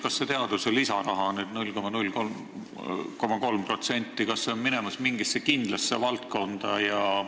Kas see teaduse lisaraha, 0,03% läheb nüüd mingisse kindlasse valdkonda?